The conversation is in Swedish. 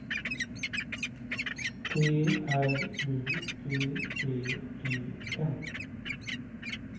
T R U P P E N